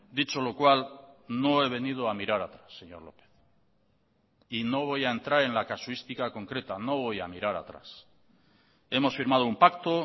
dicho lo cual no he venido a mirar atrás señor lópez y no voy a entrar en la casuística concreta no voy a mirar atrás hemos firmado un pacto